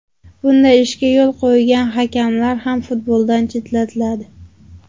Bunday ishga yo‘l qo‘ygan hakamlar ham futboldan chetlatiladi”.